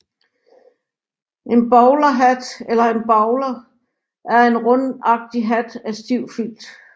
En bowlerhat eller en bowler er en rundagtig hat af stiv filt